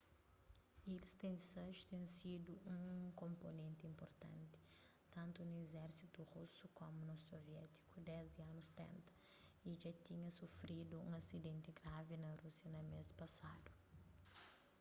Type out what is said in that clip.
il-76 ten sidu un konponenti inpurtanti tantu na izérsitu rusu komu na soviétiku desdi anus 70 y dja tinha sufridu un asidenti gravi na rúsia na mês pasadu